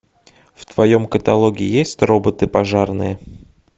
в твоем каталоге есть роботы пожарные